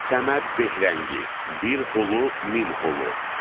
Səməd Behərəngi, Bir Hüluh Min Hüluh.